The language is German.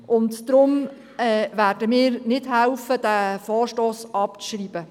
Deshalb werden wir nicht mithelfen, den Vorstoss abzuschreiben.